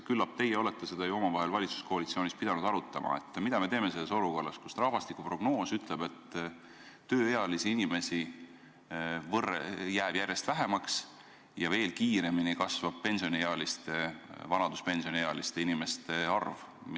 Küllap teie olete seda omavahel valitsuskoalitsioonis pidanud siiski arutama, mida me teeme olukorras, kus rahvastikuprognoos ütleb, et tööealisi inimesi jääb järjest vähemaks ja veel kiiremini kasvab vanaduspensioniealiste inimeste arv.